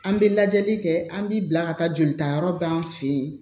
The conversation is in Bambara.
An bɛ lajɛli kɛ an b'i bila ka taa jolitayɔrɔ d'an fe yen